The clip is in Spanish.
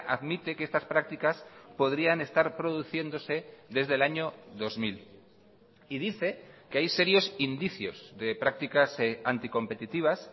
admite que estas prácticas podrían estar produciéndose desde el año dos mil y dice que hay serios indicios de prácticas anticompetitivas